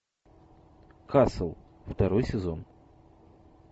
касл второй сезон